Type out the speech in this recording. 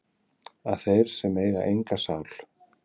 að þeir sem eiga enga sál